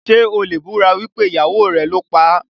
Ṣé o lè búra wípé ìyàwó rẹ̀ ló paá?